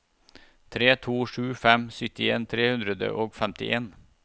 tre to sju fem syttien tre hundre og femtien